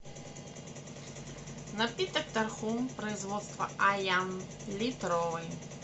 напиток тархун производство аян литровый